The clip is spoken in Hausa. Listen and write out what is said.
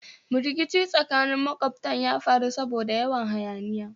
Rikici tsakanin makwabtan ya faru saboda yawan hayaniya